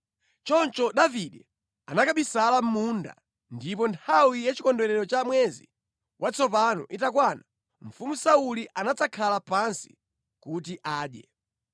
Choncho Davide anakabisala mʼmunda ndipo nthawi ya chikondwerero cha mwezi watsopano itakwana mfumu Sauli anadzakhala pansi kuti adye.